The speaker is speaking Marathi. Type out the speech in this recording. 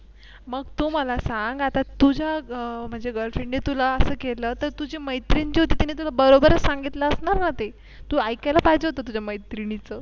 मग तू मला सांग आता तुझ्या म्हणजे Girlfriend ने तुला असं केलं तर तुझी मैत्रीण होती तिने तुला बरोबर सांगितलं असणार ना ते तू ऐकायला पाहिजे होतं तुझ्या मैत्रिणीचं.